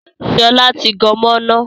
Sọlá tí gan mọ́ iná